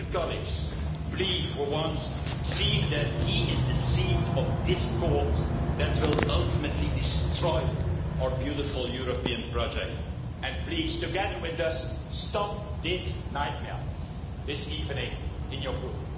Dear colleagues, please for once see that he is the seed of discord that will ultimately destroy our beautiful European project and please, together with us, stop this nightmare this evening in your Group.